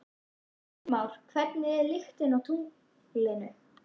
Heimir Már: Hvernig er lyktin á tunglinu?